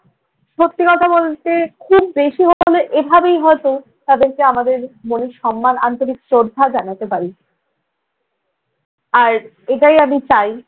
সত্যি কথা বলতে খুব বেশি হলে এভাবেই হয়তো তাদেরকে আমাদের মনে সম্মান, আন্তরিক শ্রদ্ধা জানাতে পারি। আর এটাই আমি চাই